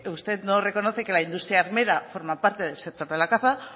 usted no reconoce que la industria armera forma parte del sector de la caza